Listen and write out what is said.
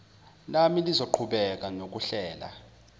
lami lizoqhubeka nokuhlela